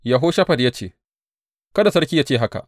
Yehoshafat ya ce, Kada sarki ya ce haka.